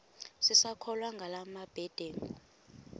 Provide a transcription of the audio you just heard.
sisakholwa ngala mabedengu